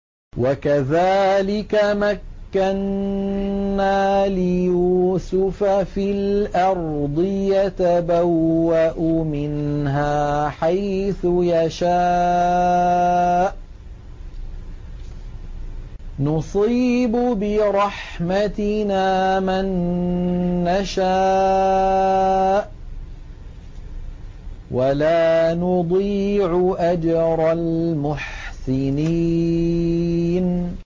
وَكَذَٰلِكَ مَكَّنَّا لِيُوسُفَ فِي الْأَرْضِ يَتَبَوَّأُ مِنْهَا حَيْثُ يَشَاءُ ۚ نُصِيبُ بِرَحْمَتِنَا مَن نَّشَاءُ ۖ وَلَا نُضِيعُ أَجْرَ الْمُحْسِنِينَ